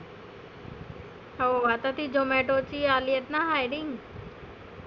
हो आता ती zomato ची आलीयेत ना minning